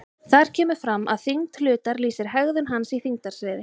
Þar kemur fram að þyngd hlutar lýsir hegðun hans í þyngdarsviði.